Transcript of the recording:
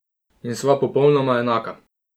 In sva popolnoma enaka!